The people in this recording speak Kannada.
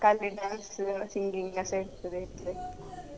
ಖಾಲಿ dance ಸು singing ಅಷ್ಟೇ ಇರ್ತದೆ ಇದ್ರೆ.